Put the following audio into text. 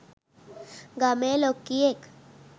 ගමේ ලොක්කියෙක්.